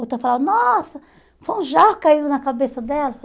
Outra falava, nossa, foi um jaca caiu na cabeça dela.